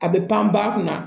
A bɛ pan ba kunna